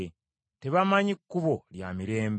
Tebamanyi kkubo lya mirembe.”